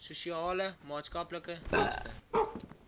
sosiale maatskaplike dienste